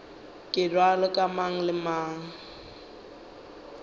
bjalo ka mang le mang